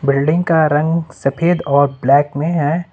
Building का रंग सफेद और ब्लैक में है।